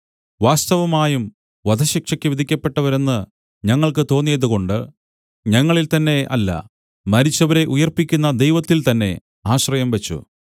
വാസ്തവമായും വധശിക്ഷയ്ക്ക് വിധിക്കപ്പെട്ടവരെന്ന് ഞങ്ങൾക്ക് തോന്നിയതുകൊണ്ട് ഞങ്ങളിൽ തന്നെ അല്ല മരിച്ചവരെ ഉയിർപ്പിക്കുന്ന ദൈവത്തിൽ തന്നെ ആശ്രയം വച്ചു